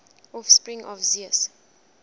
offspring of zeus